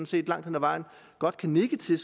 set langt hen ad vejen godt kan nikke til